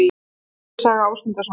Grettis saga Ásmundarsonar.